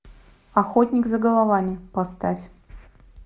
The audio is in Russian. охотник за головами поставь